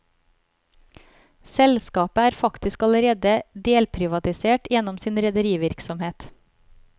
Selskapet er faktisk allerede delprivatisert gjennom sin rederivirksomhet.